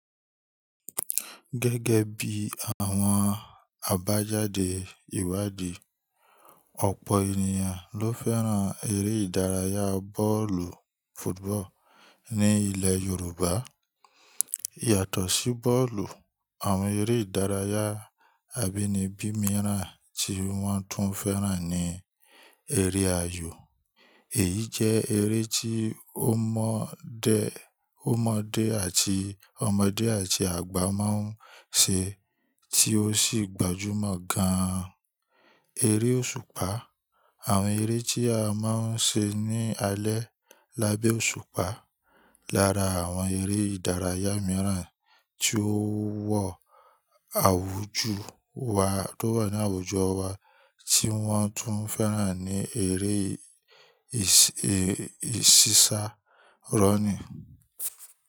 Gẹ́gẹ́ bí àwọn àbájáde ìwádìí, ọ̀pọ̀ ènìyàn ló fẹ́ràn eré ìdárayá bọ́ọ̀lù fútúbọ̀ọ̀ ní ilẹ̀ Yorùbá. Yàtọ̀ sí bọ́ọ̀lù, àwọn eré ìdárayá abínibí mìíràn tí wọ́n tún fẹ́ràn ni eré ayò. Èyí jẹ́ eré tí ọmọdé àti ọmọdé àti àgbà máa ń ṣe tí ó sì gbajúmọ̀ gan-an. Eré òṣùpá, àwọn eré tí a máa ń ṣe ní alẹ́ lábẹ́ òṣùpá. Lára àwọn eré ìdárayá mìíràn tí ó wọ àwùjọ wa tó wà ní àwùjọ wa tí wọ́n tún fẹ́ràn ni eré ìsísá, rọ́ńnì.